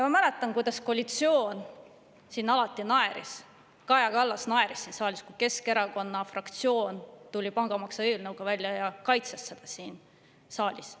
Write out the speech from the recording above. Ma mäletan, kuidas koalitsioon siin alati naeris, kuidas Kaja Kallas siin naeris, kui Keskerakonna fraktsioon tuli välja pangamaksu eelnõuga ja kaitses seda siin saalis.